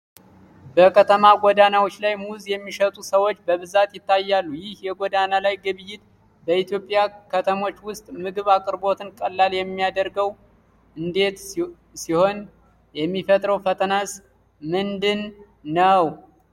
በከተማ ጎዳናዎች ላይ ሙዝ የሚሸጡ ሰዎች በብዛት ይታያሉ። ይህ የጎዳና ላይ ግብይት በኢትዮጵያ ከተሞች ውስጥ የምግብ አቅርቦትን ቀላል የሚያደርገው እንዴት ሲሆን፣ የሚፈጥረው ፈተናስ ምንድን ነው?